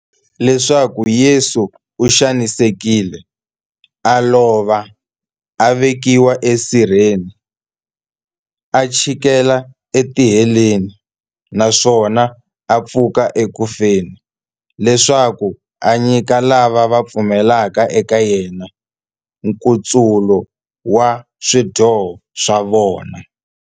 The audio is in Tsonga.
Leswaku Yesu u xanisekile, a lova, a vekiwa esirheni, a chikela etiheleni, naswona a pfuka eku feni, leswaku a nyika lava va pfumelaka eka yena, nkutsulo wa swidyoho swa vona.